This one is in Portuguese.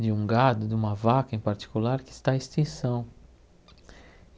de um gado, de uma vaca em particular, que está em extinção.